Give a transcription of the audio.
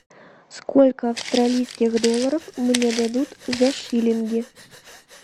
сколько австралийских долларов мне дадут за шиллинги